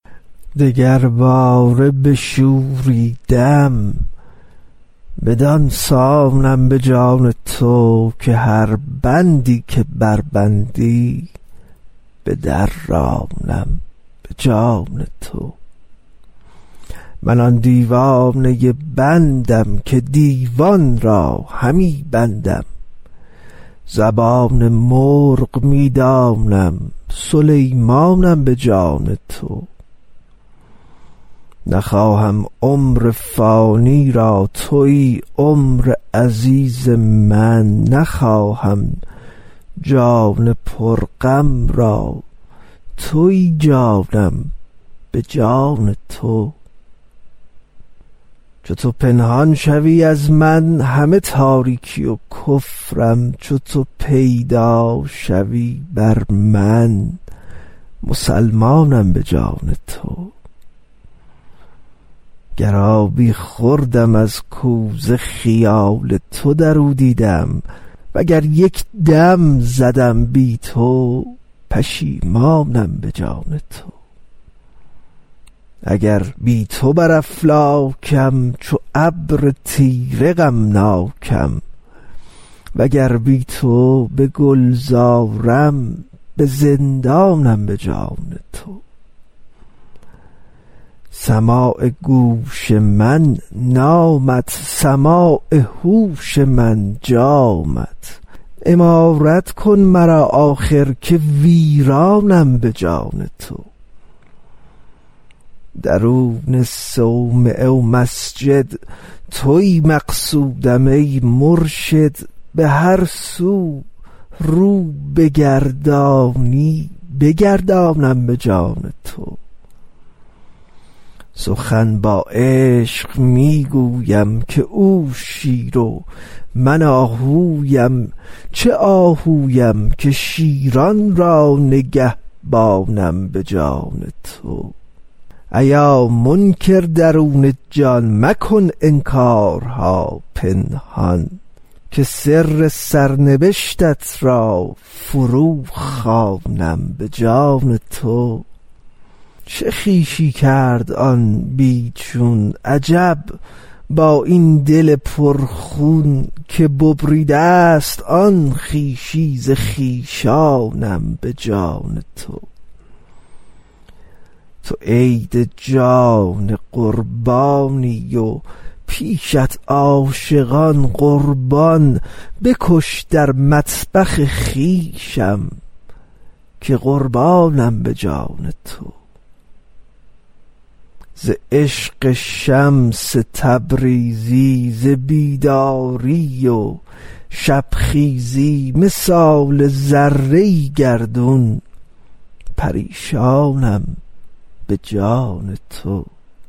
دگرباره بشوریدم بدان سانم به جان تو که هر بندی که بربندی بدرانم به جان تو من آن دیوانه بندم که دیوان را همی بندم زبان مرغ می دانم سلیمانم به جان تو نخواهم عمر فانی را توی عمر عزیز من نخواهم جان پرغم را توی جانم به جان تو چو تو پنهان شوی از من همه تاریکی و کفرم چو تو پیدا شوی بر من مسلمانم به جان تو گر آبی خوردم از کوزه خیال تو در او دیدم وگر یک دم زدم بی تو پشیمانم به جان تو اگر بی تو بر افلاکم چو ابر تیره غمناکم وگر بی تو به گلزارم به زندانم به جان تو سماع گوش من نامت سماع هوش من جامت عمارت کن مرا آخر که ویرانم به جان تو درون صومعه و مسجد توی مقصودم ای مرشد به هر سو رو بگردانی بگردانم به جان تو سخن با عشق می گویم که او شیر و من آهویم چه آهویم که شیران را نگهبانم به جان تو ایا منکر درون جان مکن انکارها پنهان که سر سرنبشتت را فروخوانم به جان تو چه خویشی کرد آن بی چون عجب با این دل پرخون که ببریده ست آن خویشی ز خویشانم به جان تو تو عید جان قربانی و پیشت عاشقان قربان بکش در مطبخ خویشم که قربانم به جان تو ز عشق شمس تبریزی ز بیداری و شبخیزی مثال ذره گردان پریشانم به جان تو